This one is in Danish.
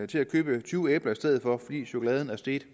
til at købe tyve æbler i stedet for fordi chokolade er steget